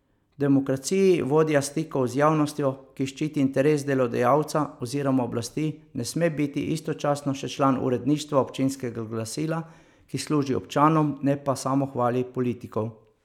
V demokraciji vodja stikov z javnostjo, ki ščiti interes delodajalca oziroma oblasti, ne sme biti istočasno še član uredništva občinskega glasila, ki služi občanom, ne pa samohvali politikov.